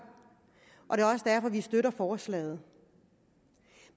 og det er også derfor vi støtter forslaget